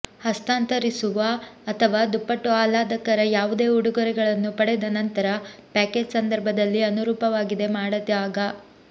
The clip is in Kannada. ಹಸ್ತಾಂತರಿಸುವ ಅಥವಾ ದುಪ್ಪಟ್ಟು ಆಹ್ಲಾದಕರ ಯಾವುದೇ ಉಡುಗೊರೆಗಳನ್ನು ಪಡೆದ ನಂತರ ಪ್ಯಾಕೇಜ್ ಸಂದರ್ಭದಲ್ಲಿ ಅನುರೂಪವಾಗಿದೆ ಮಾಡಿದಾಗ